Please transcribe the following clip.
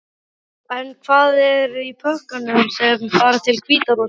En hvað er í pökkunum sem fara til Hvíta-Rússlands?